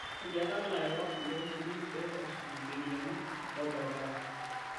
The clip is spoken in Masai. Etiaaka larewak loo ltukutuki pee esuj ncheriani olbaribara